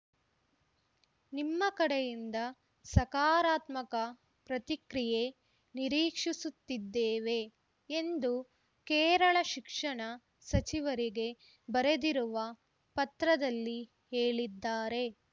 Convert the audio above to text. ನಿಮ್ಮ ಕಡೆಯಿಂದ ಸಕಾರಾತ್ಮಕ ಪ್ರತಿಕ್ರಿಯೆ ನಿರೀಕ್ಷಿಸುತ್ತಿದ್ದೇವೆ ಎಂದು ಕೇರಳ ಶಿಕ್ಷಣ ಸಚಿವರಿಗೆ ಬರೆದಿರುವ ಪತ್ರದಲ್ಲಿ ಹೇಳಿದ್ದಾರೆ